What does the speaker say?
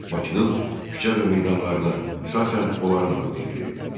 Bakının küçə və meydanlarına əsasən onların adı verilirdi.